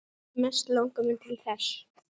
Mest langar mig til þess.